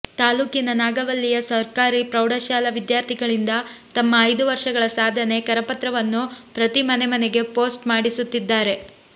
ತಾಲೂಕಿನ ನಾಗವಲ್ಲಿಯ ಸರ್ಕಾರಿ ಪ್ರೌಢಶಾಲಾ ವಿದ್ಯಾರ್ಥಿಗಳಿಂದ ತಮ್ಮ ಐದು ವರ್ಷಗಳ ಸಾಧನೆ ಕರಪತ್ರವನ್ನು ಪ್ರತಿ ಮನೆಮನೆಗೆ ಪೋಸ್ಟ್ ಮಾಡಿಸುತ್ತಿದ್ದಾರೆ